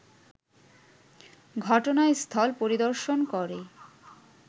ঘটনাস্থল পরিদর্শন করে